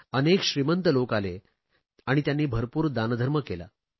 अनेक श्रीमंत लोक आले आणि त्यांनी भरपूर दानधर्म केला